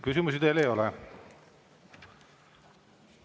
Küsimusi teile ei ole.